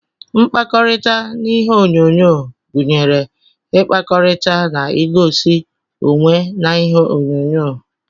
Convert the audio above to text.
Mkpakọrita na ihe onyonyo gunyere ikpakọrita na egosi onwee na ihe onyo-nyo.